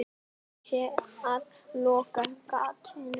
Búið sé að loka gatinu.